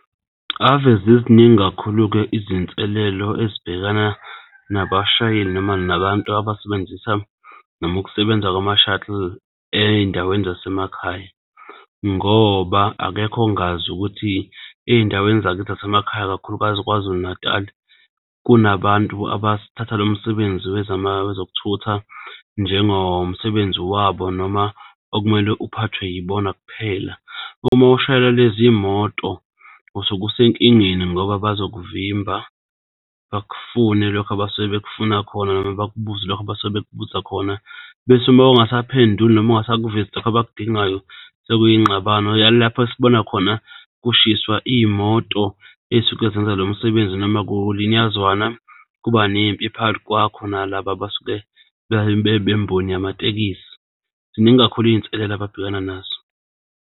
Ave ziziningi kakhulu-ke izinselelo ezibhekana nabashayeli, noma nabantu abasebenzisa noma ukusebenza kwama-shuttle ey'ndaweni zasemakhaya ngoba akekho ongazi ukuthi ey'ndaweni zakithi zasemakhaya kakhulukazi KwaZulu-Natal kunabantu abathatha lo msebenzi wezokuthutha, njengomsebenzi wabo noma okumele uphathwe yibona kuphela. Uma ushayela lezi moto, usuke usenkingeni ngoba bazoku vimba, bakufune lokho abasuke bekufuna khona noma bakubuze lokho abasuke bekubuza khona. Bese, uma ungasaphenduli noma ungasakuvezi lokho abakudingayo sekuy'ngxabano lapho esibona khona kushiswa iy'moto ey'suke zenza lo msebenzi noma kulinyazwana kuba nempi phakathi kwakho nalaba abasuke bemboni yamatekisi. Ziningi kakhulu izinselelo ababhekana nazo.